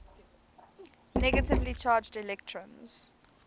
negatively charged electrons